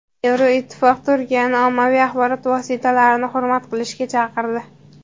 Yevroittifoq Turkiyani ommaviy axborot vositalarini hurmat qilishga chaqirdi.